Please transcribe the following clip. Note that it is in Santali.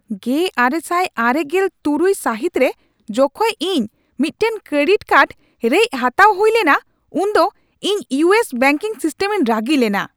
᱑᱙᱙᱖ ᱥᱟᱹᱦᱤᱛ ᱨᱮ ᱡᱚᱠᱷᱮᱡ ᱤᱧ ᱢᱤᱫᱴᱟᱝ ᱠᱨᱮᱰᱤᱴ ᱠᱟᱨᱰ ᱨᱮᱡ ᱦᱟᱛᱟᱣ ᱦᱩᱭ ᱞᱮᱱᱟ ᱩᱱ ᱫᱚ ᱤᱧ ᱤᱭᱩ ᱮᱥ ᱵᱮᱝᱠᱤᱝ ᱥᱤᱥᱴᱮᱢ ᱨᱤᱧ ᱨᱟᱹᱜᱤ ᱞᱮᱱᱟ ᱾